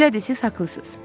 Elədir, siz haqlısınız.